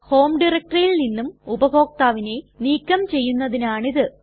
home ഡയറക്ടറിയിൽ നിന്നും ഉപഭോക്താവിനെ നീക്കം ചെയ്യുന്നതിനാണ് ഇത്